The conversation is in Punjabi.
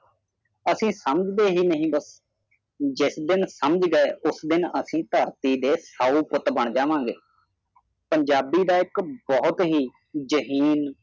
ਅਸੀਂ ਸਮਝਦੇ ਹੀ ਨਹੀਂ ਬਸ ਜਿਸ ਦਿਨ ਸਮਝਗੇ ਉਸ ਦਿਨ ਅਸੀਂ ਤਰਥੀ ਦੇ ਸਾਊ ਪੁੱਤ ਬਾਨ ਜਾਵਾਗੇ ਪੰਜਾਬੀ ਦਾ ਇਕ ਬਹੁਤ ਹੀ ਜਹਿਨ